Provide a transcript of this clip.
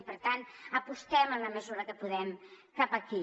i per tant apostem en la mesura que puguem cap aquí